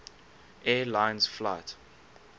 air lines flight